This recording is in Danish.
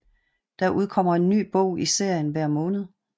Der udkommer en ny bog i serien hver måned